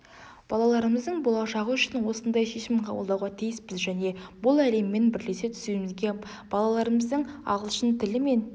балаларымыздың болашағы үшін осындай шешім қабылдауға тиіспіз және бұл әлеммен бірлесе түсуімізге балаларымыздың ағылшын тілі мен